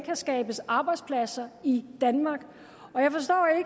kan skabes arbejdspladser i danmark